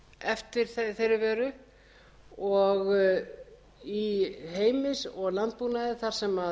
eftir þeirri vöru í heimi og landbúnaði þar sem